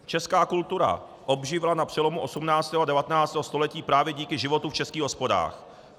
Česká kultura obživla na přelomu 18. a 19. století právě díky životu v českých hospodách.